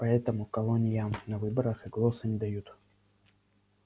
поэтому колониям на выборах и голоса не дают